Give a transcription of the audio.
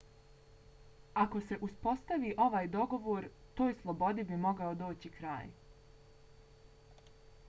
ako se uspostavi ovaj dogovor toj slobodi bi mogao doći kraj